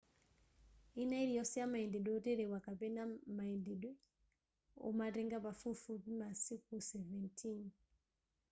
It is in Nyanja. ina iliyonse yamayendedwe oterewa kapena mayendedwe omatenga pafupifupi masiku 17